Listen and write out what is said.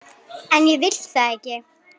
En ég vil það ekki.